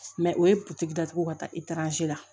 o ye datugu ka taa la